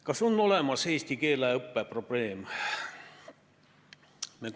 Kas on olemas eesti keele õppe probleem?